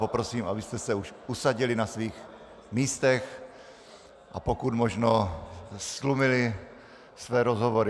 Poprosím, abyste se už usadili na svých místech a pokud možno ztlumili své rozhovory.